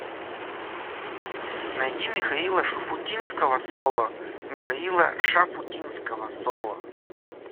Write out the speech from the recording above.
найди михаила шуфутинского соло михаила шафутинского соло